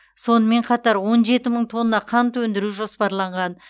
сонымен қатар он жеті мың тонна қант өндіру жоспарланған